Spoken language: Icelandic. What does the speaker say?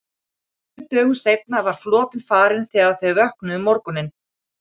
Tveimur dögum seinna var flotinn farinn þegar þau vöknuðu um morguninn.